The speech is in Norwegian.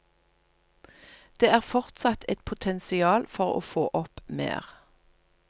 Det er fortsatt et potensial for å få opp mer.